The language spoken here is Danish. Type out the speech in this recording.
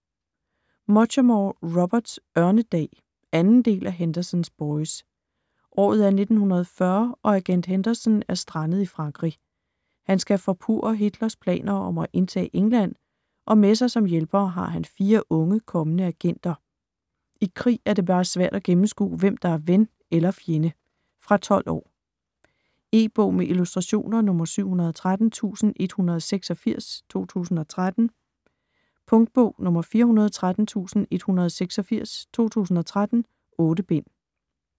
Muchamore, Robert: Ørnedag 2. del af Henderson's boys. Året er 1940 og agent Henderson er strandet i Frankrig. Han skal forpurre Hitlers planer om at indtage England, og med sig som hjælpere har han fire unge kommende agenter. I krig er det bare svært at gennemskue, hvem der er ven eller fjende. Fra 12 år. E-bog med illustrationer 713186 2013. Punktbog 413186 2013. 8 bind.